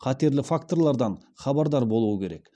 қатерлі факторлардың хабардар болуы керек